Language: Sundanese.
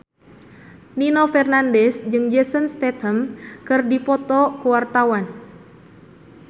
Nino Fernandez jeung Jason Statham keur dipoto ku wartawan